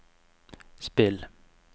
spill